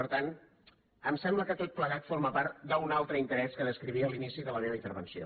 per tant em sembla que tot plegat forma part d’un altre interès que descrivia a l’inici de la meva intervenció